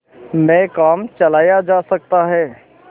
में काम चलाया जा सकता है